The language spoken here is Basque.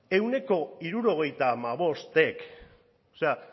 ehuneko hirurogeita hamabostek o sea